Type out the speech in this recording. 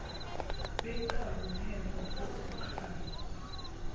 benkawu ngemva kokukhala